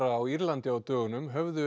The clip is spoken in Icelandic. á Írlandi á dögunum höfðu